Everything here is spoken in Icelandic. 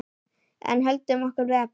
En höldum okkur við efnið.